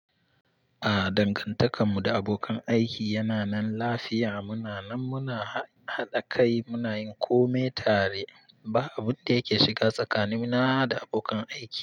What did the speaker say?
A'a, dangantakar mu da abokan aiki yana nan lafiya. Muna nan muna haɗa kai, muna yin kome tare. Ba abun da yake shiga tsakani na da abokan aiki.